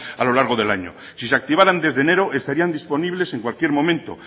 a lo largo del año si se activarán desde enero estarían disponibles en cualquier momento